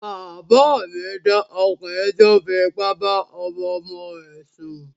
Bàbá mi dá ọkùnrin tí ó fi ipá bá ọmọ ọmọ rẹ̀ sùn